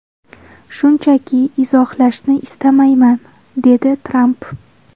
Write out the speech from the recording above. Shunchaki izohlashni istamayman”, dedi Tramp.